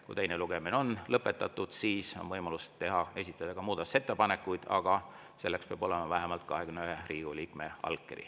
Kui teine lugemine on lõpetatud, siis on võimalik esitada ka muudatusettepanekuid, aga selleks peab olema vähemalt 21 Riigikogu liikme allkiri.